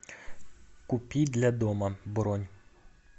купи для дома бронь